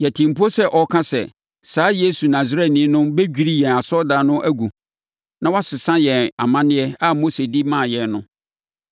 Yɛtee mpo sɛ ɔreka sɛ, saa Yesu Nasareni no bɛdwiri yɛn asɔredan no agu na wasesa yɛn amanneɛ a Mose de maa yɛn no!”